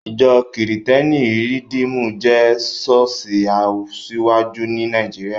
Ìjọ́ kìrìtẹ́nì Rìdímù jẹ́ ṣọ́ọ̀ṣì asiwaju ní Nàìjíríà